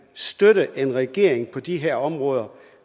støtte en regering på de her områder